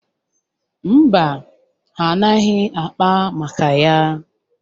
Mba, ha anaghị akpa maka ya.